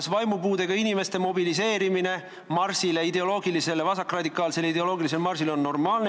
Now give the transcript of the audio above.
Kas vaimupuudega inimeste mobiliseerimine vasakradikaalsele ideoloogilisele marsile on normaalne?